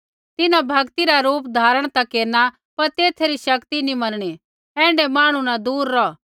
तिन्हां भक्ति रा रूप धारण ता केरना पर तैथा री शक्ति नी मनणी ऐण्ढै मांहणु न दूर रौह